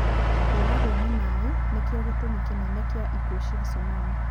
Kũragwo nĩ maĩ nĩkĩo gĩtũmi kĩnene kĩa ikuũ cia cunami.